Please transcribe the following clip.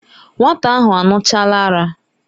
Nwata ahụ aṅụchaala ara.